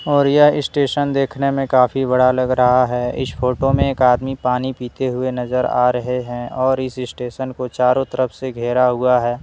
और यह स्टेशन देखने में काफी बड़ा लग रहा है इस फोटो में एक आदमी पानी पीते हुए नजर आ रहे हैं और इस स्टेशन को चारों तरफ से घेरा हुआ है।